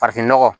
Farafinnɔgɔ